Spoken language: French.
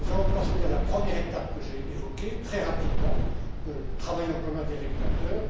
Nous allons procéder à la première étape que j'ai évoquée très rapidement le travail en commun des régulateurs.